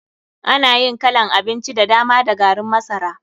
Ana yin kalan abinci da dama da garin masara.